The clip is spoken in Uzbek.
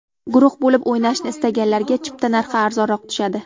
Guruh bo‘lib o‘ynashni istaganlarga chipta narxi arzonroq tushadi.